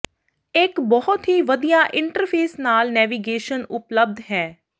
ਇੱਕ ਬਹੁਤ ਹੀ ਵਧੀਆ ਇੰਟਰਫੇਸ ਨਾਲ ਨੇਵੀਗੇਸ਼ਨ ਉਪਲਬਧ ਹੈ